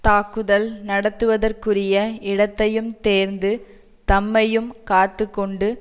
தாக்குதல் நடத்துவதற்குரிய இடத்தையும் தேர்ந்து தம்மையும் காத்து கொண்டு